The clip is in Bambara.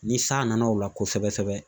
Ni san nana o la kosɛbɛ sɛbɛ sɛbɛ